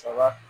Saba